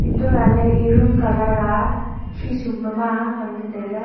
untoh lahley e room colour a khi sum pama ngan ley tailey.